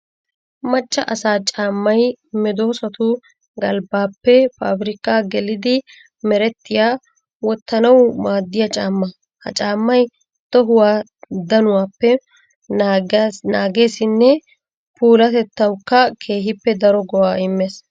Macca asaa caammay medosattu galbbappe pabirkka geliddi merettiya wottanawu maadiya caamma. Ha caammay tohuwa danuwappe naagesinne puulatettawukka keehippe daro go'a imees.